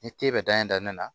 Ni te bɛ dan ye danni na